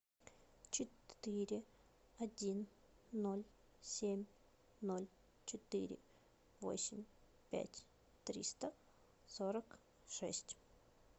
четыре один ноль семь ноль четыре восемь пять триста сорок шесть